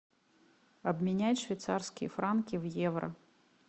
обменять швейцарские франки в евро